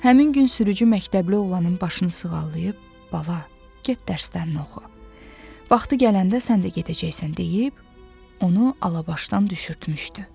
Həmin gün sürücü məktəbli oğlanın başını sığallayıb, “Bala, get dərslərini oxu, vaxtı gələndə sən də gedəcəksən” deyib, onu Alabaşdan düşürtmüşdü.